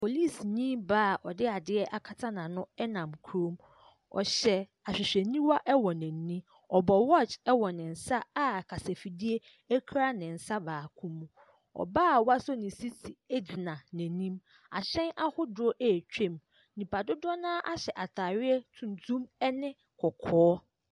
Polisini baa a ɔde adeɛ akata n'ano ɛnam kurom, ɔhyɛ ahwehwɛniwa ɛwɔ n'ani, ɔbɔ wɔɔkye ɛwɔ nensa, a kasafidie ekura nensa baako mu. . Ɔbaa a w'asɔ ne sisi egyina nanim. Ahyɛn ahoroɔ etwa mu, nipa dodoɔ naa hyɛ ataareɛ tuntum ɛne kɔkɔɔ.